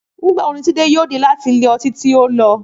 Nígbà wo ni Túndé yóò dé láti ilé ọtí tí ó lọ?